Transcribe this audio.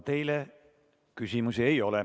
Teile küsimusi ei ole.